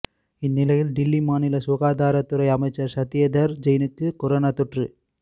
இந்நிலையில் டில்லி மாநில சுகாதாரத்துறை அமைச்சர் சத்யேந்தர்ஜெயினுக்கு கொரோனா தொற்று